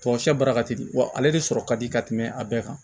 Tamasiyɛn baara ka teli wa ale de sɔrɔ ka di ka tɛmɛ a bɛɛ kan